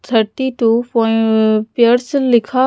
thirty two प pairs लिखा--